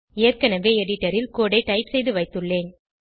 ஏற்கனவே எடிடரில் கோடு ஐ டைப் செய்துவைத்துள்ளேன்